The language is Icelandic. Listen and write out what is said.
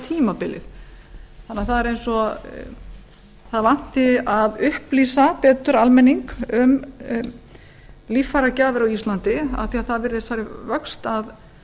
tímabilið það er eins og það vanti að upplýsa betur almenning um líffæragjafar á íslandi af því að það virðist fara í vöxt að